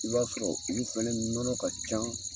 I b'a sɔrɔ olu fɛnɛ nɔnɔ ka can